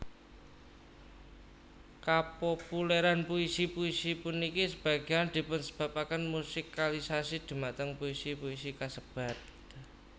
Kapopulèran puisi puisi puniki sebagéyan dipunsebabaken musikalisasi dhumateng puisi puisi kasebat